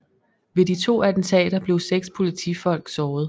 Ved de to attentater blev seks politifolk såret